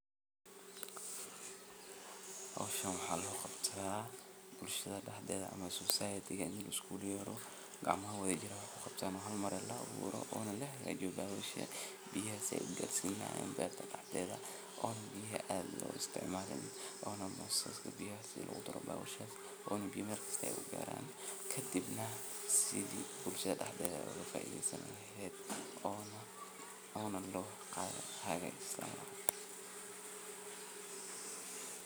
Hawshan beerta soo baxaysa oo sawirka lagu tusayo waa mid muhiimad weyn ugu fadhida bulshada deegaankaaga. Marka laga hadlayo sida hawshan looga qabto bulshadaada, waxaa jira tallaabooyin dhowr ah oo muhiim ah in la qaado si ay bulshadaada uga faa’iidaysato beeraleyntan. Tallaabooyinkaasi waxay bilowdaan iyadoo bulshada la wacyigelinayo si ay u fahmaan muhiimada beeraleyntu u leedahay noloshooda iyo horumarka deegaanka. Wacyigelintu waxay ka bilaaban kartaa ururinta dadka deegaanka, iyagoo loo qabanayo kulamo lagu barayo faa’iidooyinka beeraleynta, sida ay cuntada u kobcinayso, dhaqaalahana u xoojinayso.